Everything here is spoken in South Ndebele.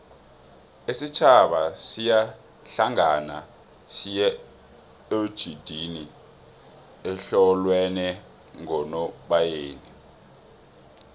isitjhaba siyahlangana siyoejidinga ehlolweni ngonobayeni